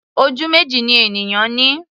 Ojú méjì ni ènìyàn ní.